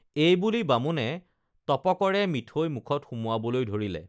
এইবুলি বামুণে টপকৰে মিঠৈ মুখত সুমুৱাবলৈ ধৰিলে